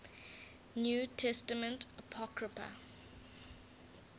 new testament apocrypha